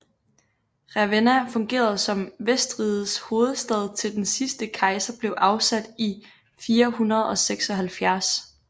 Ravenna fungerede som vestrigets hovedstad til den sidste kejser blev afsat i 476